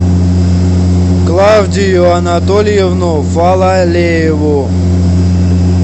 клавдию анатольевну фалалееву